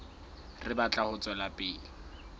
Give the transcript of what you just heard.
re batla ho tswela pele